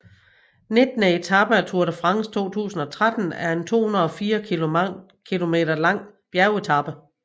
Nittende etape af Tour de France 2013 er en 204 km lang bjergetape